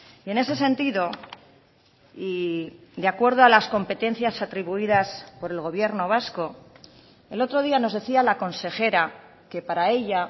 y en ese sentido y de acuerdo a las competencias atribuidas por el gobierno vasco el otro día nos decía la consejera que para ella